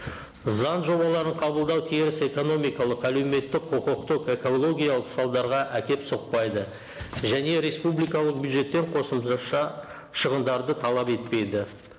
заң жобаларын қабылдау теріс экономикалық әлеуметтік құқықтық экологиялық салдарға әкеліп соқпайды және республикалық бюджеттен қосымша шығындарды талап етпейді